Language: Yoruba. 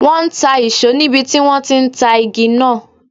Wọn ń ta ìṣó níbi tí wọn ti ń ta igi náà.